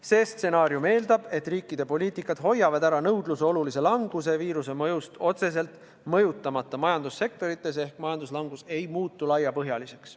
See stsenaarium eeldab, et riikide poliitika hoiab ära nõudluse olulise languse viirusest otseselt mõjutamata majandussektorites ehk majanduslangus ei muutu laiapõhjaliseks.